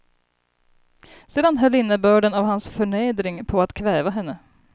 Sedan höll innebörden av hans förnedring på att kväva henne.